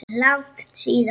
Langt síðan?